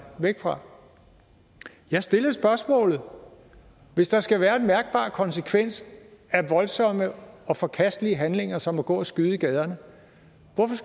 væk fra jeg stillede spørgsmålet hvis der skal være en mærkbar konsekvens af voldsomme og forkastelige handlinger som at gå og skyde i gaderne